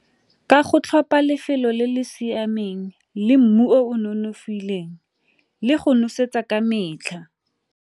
Ka go tlhopha lefelo le le siameng le mmu o nonofileng le go nosetsa ka metlha.